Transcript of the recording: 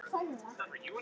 Nei, ekki svo.